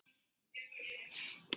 Hann elskaði ykkur öll.